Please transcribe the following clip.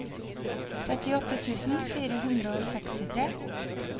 trettiåtte tusen fire hundre og sekstitre